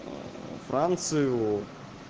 францию